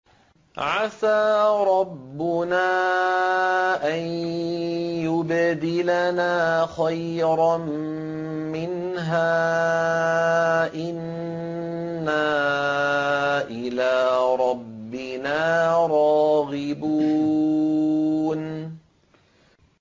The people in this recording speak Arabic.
عَسَىٰ رَبُّنَا أَن يُبْدِلَنَا خَيْرًا مِّنْهَا إِنَّا إِلَىٰ رَبِّنَا رَاغِبُونَ